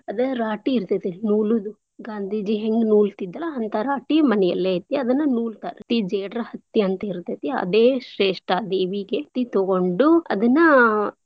ಅದ್ ರಾಟಿ ಇರ್ತೇತಿ ನೂಲೂದು ಗಾಂದೀಜಿ ಹೆಂಗ್ ನೂಲ್ತಿದ್ರಲ್ಲ ಅಂತ ರಾಟಿ ಮನೆಯಲ್ಲೇ ಐತೀ ಅದನ್ನ ನೂಲ್ತಾರ ಜೇಡ್ರ ಹತ್ತಿ ಅಂತ್ ಇರ್ತತಿ ಅದೇ ಶ್ರೇಷ್ಟ ದೇವೀಗೆ ಹತ್ತಿ ತೊಗೊಂಡು ಅದನ್ನಾ.